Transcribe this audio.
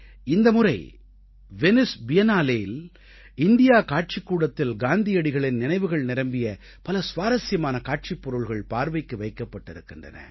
இந்த முறை வெனைஸ் Biennaleஇல் இண்டியா காட்சிக்கூடத்தில் காந்தியடிகளின் நினைவுகள் நிரம்பிய பல சுவாரசியமான காட்சிப் பொருள்கள் பார்வைக்கு வைக்கப்பட்டிருக்கின்றன